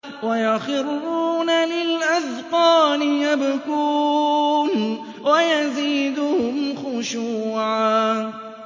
وَيَخِرُّونَ لِلْأَذْقَانِ يَبْكُونَ وَيَزِيدُهُمْ خُشُوعًا ۩